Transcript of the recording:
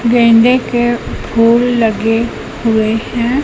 गेंदे के फूल लगे हुए हैं।